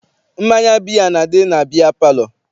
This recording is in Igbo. Mmanya biya na-adị na biya palọ.